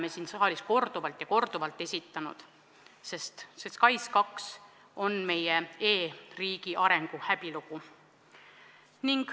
Me oleme neid siin saalis korduvalt ja korduvalt esitanud, sest SKAIS2 on meie e-riigi arengu häbilugu.